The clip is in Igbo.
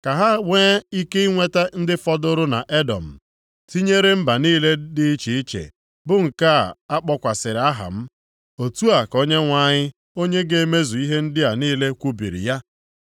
Ka ha nwee ike inweta ndị fọdụrụ nʼEdọm tinyere mba niile dị iche iche bụ nke a kpọkwasịrị aha m.” Otu a ka Onyenwe anyị onye ga-emezu ihe ndị a niile kwubiri ya.